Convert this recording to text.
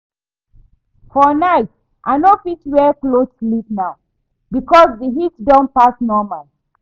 For night I no fit wear cloth sleep now because the heat don pass normal